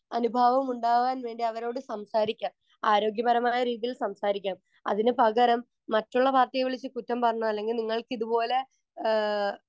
speaker 1 അനുഭാവമുണ്ടാവാൻ വേണ്ടി അവരോട് സംസാരിക്കാം ആരോഗ്യപരമായ രീതിയിൽ സംസാരിക്കണം അതിനുപകരം മറ്റുള്ള പാർട്ടിയെ വിളിച്ചു കുറ്റം പറഞ്ഞോ അല്ലെങ്കിൽ നിങ്ങൾക്കിതുപോലെ ഏഹ്